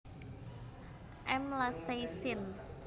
M lacei syn